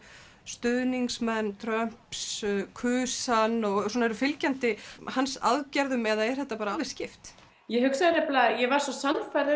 stuðningsmenn Trumps kusu hann og eru fylgjandi hans aðgerðum eða er þetta alveg skipt ég hugsa nefnilega ég var svo sannfærð